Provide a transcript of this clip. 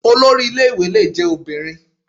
Olori ilé ìwé lè jẹ́ obìnrin.